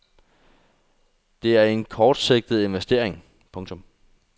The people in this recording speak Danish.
Det er en kortsigtet investering. punktum